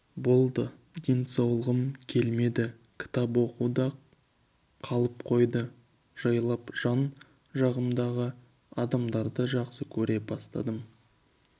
болды денсаулығым келмеді кітап оқу да қалып қойды жайлап жан жағымжағы адамдарды жақсы көре бастадым